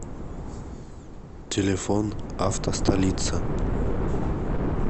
телефон автостолица